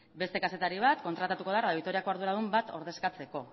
beste kazetari bat kontratatuko da radio vitoriako arduradun bat ordezkatzeko